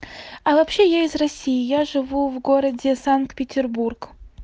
а вообще я из россии я живу в городе санкт-петербург